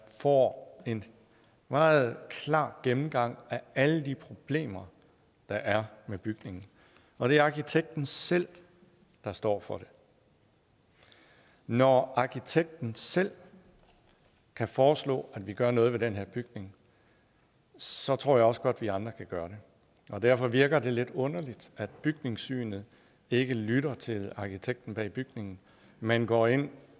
får en meget klar gennemgang af alle de problemer der er med bygningen og det er arkitekten selv der står for det når arkitekten selv kan foreslå at vi gør noget ved den her bygning så tror jeg også godt at vi andre kan gøre det derfor virker det lidt underligt at bygningssynet ikke lytter til arkitekten bag bygningen men går ind